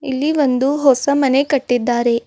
ಇಲ್ಲಿ ಒಂದು ಹೊಸ ಮನೆ ಕಟ್ಟಿದ್ದಾರೆ.